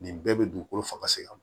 Nin bɛɛ bɛ dugukolo faga se ka